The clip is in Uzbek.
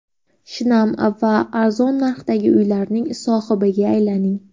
Shinam va arzon narxlardagi uylarning sohibiga aylaning!.